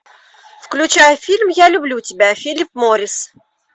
включай фильм я люблю тебя филлип моррис